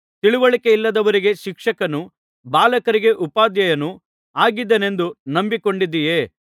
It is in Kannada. ತಿಳಿವಳಿಕೆಯಿಲ್ಲದವರಿಗೆ ಶಿಕ್ಷಕನೂ ಬಾಲಕರಿಗೆ ಉಪಾಧ್ಯಾಯನೂ ಆಗಿದ್ದೇನೆಂದು ನಂಬಿಕೊಂಡಿದ್ದಿಯೇ